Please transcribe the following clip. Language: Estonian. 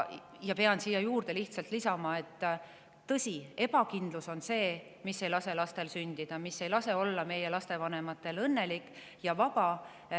Pean lihtsalt lisama, et tõsi, ebakindlus on see, mis ei lase lastel sündida ja meie lastevanematel olla õnnelikud ja vabad.